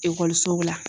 Ekɔlisow la